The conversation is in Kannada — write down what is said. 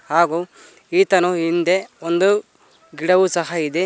ಹಾಗು ಈತನು ಹಿಂದೆ ಒಂದು ಗಿಡವು ಸಹ ಇದೆ.